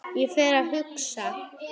Og fer að hugsa